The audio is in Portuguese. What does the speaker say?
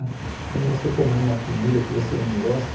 Que nem você comer uma comida que você não gosta.